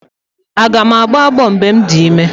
Aga m agbọ ọgbọ mgbe m dị ime?